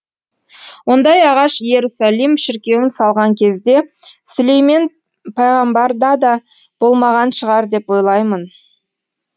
ондай ағаш иерусалим шіркеуін салған кезде сүлеймен пайғамбарда да болмаған шығар деп ойлаймын